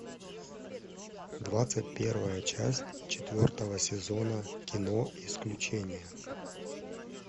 двадцать первая часть четвертого сезона кино исключение